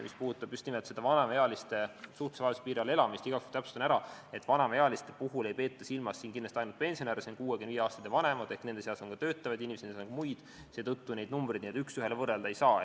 Mis puudutab just nimelt vanemaealiste suhtelise vaesuse piiril elamist, siis igaks juhuks täpsustan, et vanemaealiste all ei peeta siin silmas kindlasti mitte ainult pensionäre, need on 65-aastased ja vanemad, vaid nende seas on ka töötavaid ja muid inimesi, seetõttu neid numbreid üks ühele võrrelda ei saa.